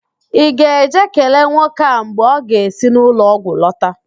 Ị ga-eje kelee nwoke a mgbe ọ ga-esi n'ụlọọgwụ lọta?